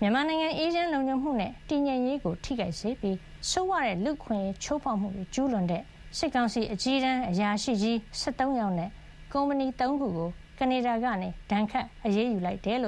မြန်မာနိုင်ငံ အေးချမ်း၊ လုံခြုံမှုနဲ့ တည်ငြိမ်ရေးကို ထိခိုက်စေပြီး ဆိုးဝါးတဲ့ လူ့အခွင့်အရေး ချိုးဖေါက်မှုတွေ ကျူးလွန်တဲ့ စစ်ကောင်စီ အကြီးတန်းအရာရှိကြီး ၁၃ ယောက်နဲ့ ကုမ္ပဏီ ၃ ခု ကို ကနေဒါက ဒဏ်ခတ်အရေးယူလိုက်ကြောင်း